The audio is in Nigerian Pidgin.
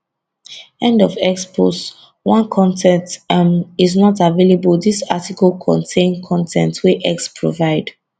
end of x post 1 con ten t um is not available dis article contain con ten t wey x provide